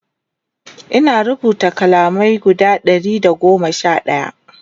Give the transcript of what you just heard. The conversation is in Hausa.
Ina rubuta kalamai guda Ɗari da goma Sha ɗaya